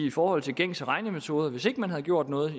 i forhold til gængse regnemetoder altså at hvis ikke man havde gjort noget